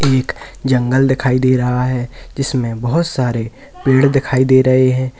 एक जंगल दिखाई दे रहा है जिसमें बहुत सारे पेड़ दिखाई दे रहे हैं।